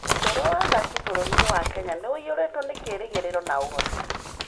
Ũtũũro wa athaki bũrũri-inĩ wa Kenya nĩ ũiyũrĩtwo nĩ kĩĩrĩgĩrĩro na ũhoti.